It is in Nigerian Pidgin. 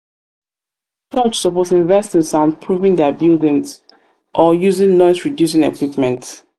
church suppose invest in soundproofing dia buildings or dia buildings or using noise-reducing equipment.